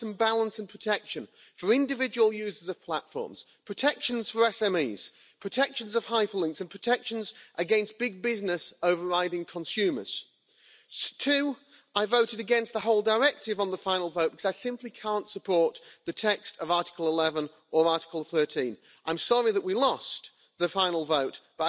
artists, journalists must get fair remuneration for their works that are copyrighted, otherwise we are all complicit in stealing their work. Somebody asked a question of a group of us who here works for nothing? There was silence and that silence was more powerful than any words.